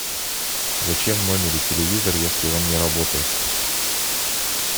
зачем в номере телевизор если он не работает